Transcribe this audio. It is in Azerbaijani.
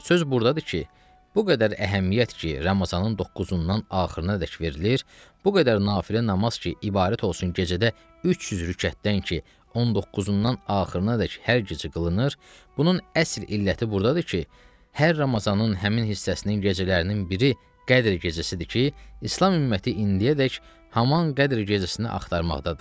Söz burdadır ki, bu qədər əhəmiyyət ki, Ramazanının 9-undan axırınadək verilir, bu qədər nafilə namaz ki, ibarət olsun gecədə 300 rükətdən ki, 19-undan axırınadək hər gecə qılınır, bunun əsl illəti burdadır ki, hər Ramazanının həmin hissəsinin gecələrinin biri Qədr gecəsidir ki, İslam ümməti indiyədək haman Qədr gecəsini axtarmaqdadır.